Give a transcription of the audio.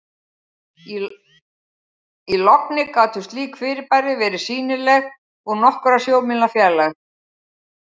í logni gátu slík fyrirbæri verið sýnileg úr nokkurra sjómílna fjarlægð